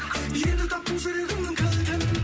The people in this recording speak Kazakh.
енді таптым жүрегіңнің кілтін